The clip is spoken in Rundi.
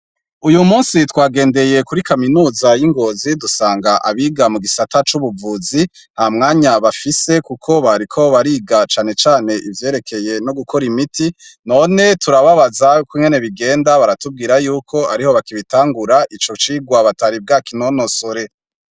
Uyu munsi twagendeye kuri kaminuza y' i Ngozi, dusanga abiga mu gisata c' ubuvuzi nta mwanya bafise kuko bariko bariga cane cane ivyerekeye no gukora imiti, none turababaza ingene bigenda baratubwira yuko ariho bakibitangura ico cirwa batari bwa kinonosore.